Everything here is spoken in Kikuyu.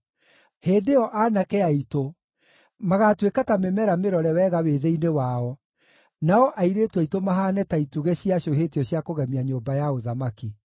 Hĩndĩ ĩyo aanake aitũ magaatuĩka ta mĩmera mĩrore wega wĩthĩ-inĩ wao, nao airĩtu aitũ mahaane ta itugĩ ciacũhĩtio cia kũgemia nyũmba ya ũthamaki.